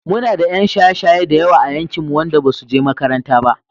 Muna da 'yan shaye-shaye da yawa a yankinmu wanda basu he makaranta ba.